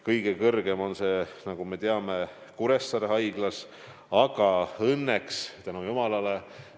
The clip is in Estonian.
Kõige suurem on see, nagu me teame, Kuressaare haiglas, aga õnneks – tänu jumalale!